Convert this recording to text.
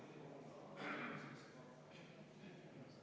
Ettepanek leidis toetust.